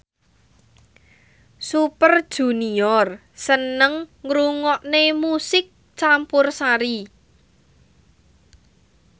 Super Junior seneng ngrungokne musik campursari